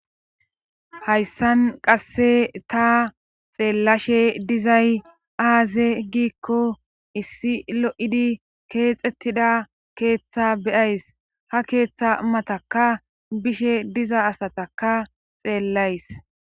Hayssan qasse ta xeellashe dizay aaze giikko issi lo7idi keexxettida keeththa be7ays ha keeththa matakka bishe diza asataka xeellays.